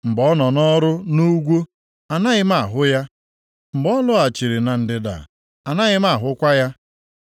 Mgbe ọ nọ nʼọrụ nʼugwu anaghị m ahụ ya, mgbe ọ lọghachiri na ndịda anaghị m ahụkwa ya.